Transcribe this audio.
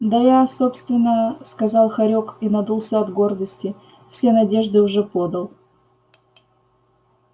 да я собственно сказал хорёк и надулся от гордости все надежды уже подал